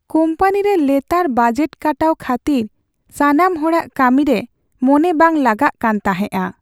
Company ᱨᱮ ᱞᱮᱛᱟᱲ budget ᱠᱟᱴᱟᱣ ᱠᱷᱟᱹᱛᱤᱨ ᱥᱟᱱᱟᱢ ᱦᱚᱲᱟᱜ ᱠᱟᱹᱢᱤᱨᱮ ᱢᱚᱱᱮ ᱵᱟᱝ ᱞᱟᱜᱟᱜ ᱠᱟᱱ ᱛᱟᱦᱮᱸᱜᱼᱟ ᱾